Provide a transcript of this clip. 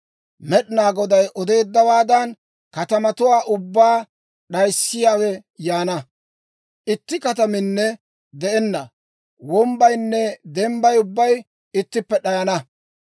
Med'inaa Goday odeeddawaadan, katamatuwaa ubbaa d'ayissiyaawe yaana; itti kataminne de'enna; wombbaynne dembbay ubbay ittippe d'ayana.